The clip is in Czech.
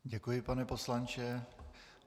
Děkuji, pane poslanče.